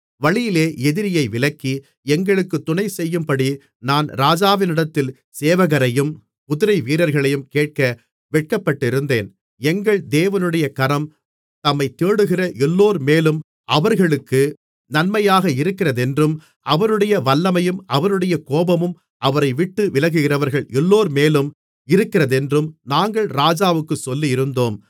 வழியிலே எதிரியை விலக்கி எங்களுக்குத் துணைசெய்யும்படி நான் ராஜாவினிடத்தில் சேவகரையும் குதிரைவீரர்களையும் கேட்க வெட்கப்பட்டிருந்தேன் எங்கள் தேவனுடைய கரம் தம்மைத் தேடுகிற எல்லோர்மேலும் அவர்களுக்கு நன்மையாக இருக்கிறதென்றும் அவருடைய வல்லமையும் அவருடைய கோபமும் அவரைவிட்டு விலகுகிறவர்கள் எல்லோர்மேலும் இருக்கிறதென்றும் நாங்கள் ராஜாவுக்குச் சொல்லியிருந்தோம்